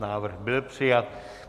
Návrh byl přijat.